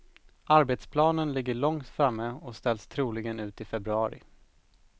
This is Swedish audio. Arbetsplanen ligger långt framme och ställs troligen ut i februari.